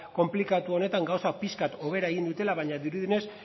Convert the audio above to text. konplikatu honetan gauzak pixka bat hobera egin dutela baina dirudienez